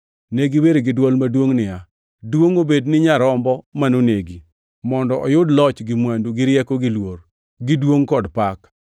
Ne giwer gi dwol maduongʼ niya: “Duongʼ obed ni Nyarombo manonegi, mondo oyud loch gi mwandu, gi rieko gi luor, gi duongʼ kod pak.”